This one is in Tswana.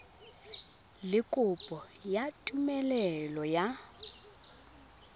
le kopo ya tumelelo ya